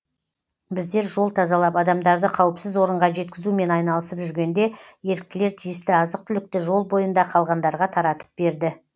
біздер жол тазалап адамдарды қауіпсіз орынға жеткізумен айналысып жүргенде еріктілер тиісті азық түлікті жол бойында қалғандарға таратып берді